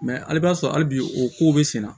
Mɛ hali i b'a sɔrɔ hali bi o kow bɛ senna